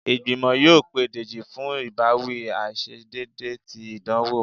igbimọ yóò pe dejí fún ibawi aiṣedeede tí idanwo